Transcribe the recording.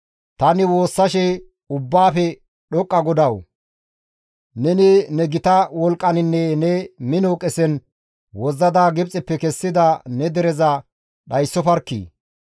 Tani woossashe, «Ubbaafe dhoqqa GODAWU! Neni ne gita wolqqaninne ne mino qesen wozzada Gibxeppe kessida ne dereza dhayssofarkkii!